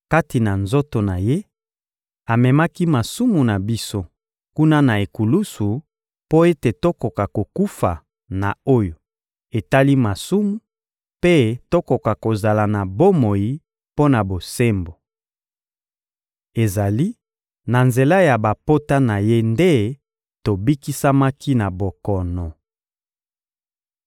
Kati na nzoto na Ye, amemaki masumu na biso kuna na ekulusu mpo ete tokoka kokufa na oyo etali masumu mpe tokoka kozala na bomoi mpo na bosembo. Ezali na nzela ya bapota na Ye nde bobikisamaki na bokono.